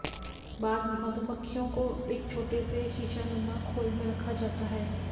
बाद मधुमक्खियों को एक छोटे से शीशानुमा खोल में रखा जाता है